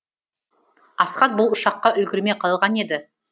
асхат бұл ұшаққа үлгермей қалған еді